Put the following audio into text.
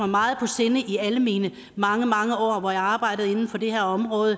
meget på sinde i alle mine mange mange år hvor jeg har arbejdet inden for det her område